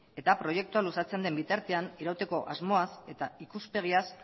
eta proiektua luzatzen den bitartean irauteko asmoaz eta ikuspegiaz